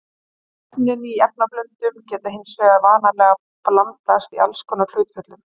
Efnin í efnablöndunum geta hins vegar vanalega blandast í alls konar hlutföllum.